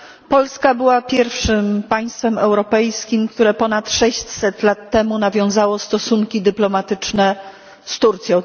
Polska była pierwszym państwem europejskim, które ponad 600 lat temu nawiązało stosunki dyplomatyczne z Turcją.